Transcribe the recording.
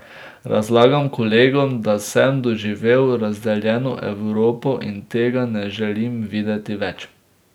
Razlagam kolegom, da sem doživel razdeljeno Evropo, in tega ne želim videti več.